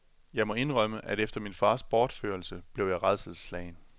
Jeg må indrømme, at efter min fars bortførelse blev jeg rædselsslagen.